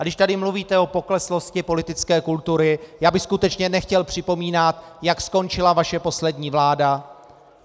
A když tady mluvíte o pokleslosti politické kultury, já bych skutečně nechtěl připomínat, jak skončila vaše poslední vláda.